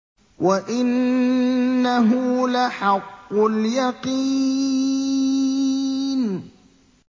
وَإِنَّهُ لَحَقُّ الْيَقِينِ